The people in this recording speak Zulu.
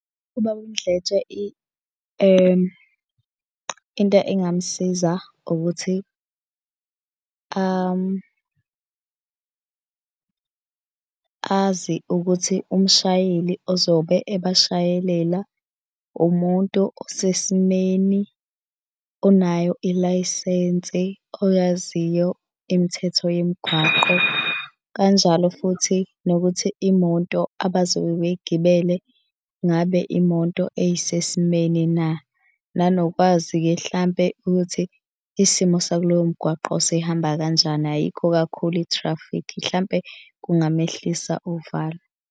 Ubaba uMdletshe into engamsiza ukuthi azi ukuthi umshayeli ozobe ebashayelela umuntu osesimeni, onayo ilayisensi, oyaziyo imithetho yemigwaqo, kanjalo futhi nokuthi imoto abazobe beyigibele ngabe imoto eyisesimeni na? Nanokwazi-ke hlampe ukuthi isimo sakuloyo mgwaqo sihamba kanjani? Ayikho kakhulu i-traffic? Hlampe kungamehlisa uvalo.